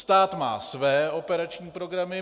Stát má své operační programy.